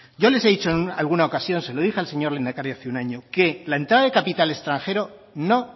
yo les he dicho en alguna ocasión se lo dije al señor lehendakari hace un año que la entrada de capital extranjero no